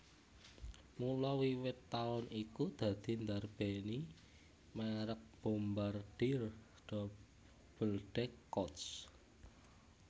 Mula wiwit taun iku dadi ndarbèni mèrek Bombardier Double deck Coach